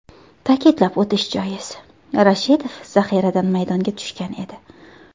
Ta’kidlab o‘tish joiz, Rashidov zaxiradan maydonga tushgan edi.